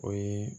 O ye